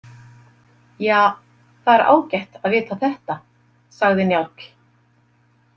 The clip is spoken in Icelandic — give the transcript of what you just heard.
Ja, það er ágætt að vita þetta, sagði Njáll.